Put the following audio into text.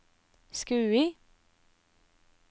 Skui